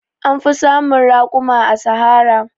An fi samun raƙuma a Sahara.